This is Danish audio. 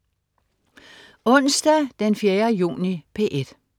Onsdag den 4. juni - P1: